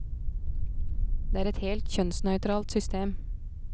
Det er et helt kjønnsnøytralt system.